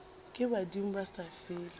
ke badimo ba sa fele